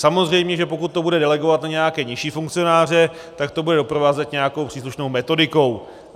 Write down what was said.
Samozřejmě že pokud to bude delegovat na nějaké nižší funkcionáře, tak to bude doprovázet nějakou příslušnou metodikou.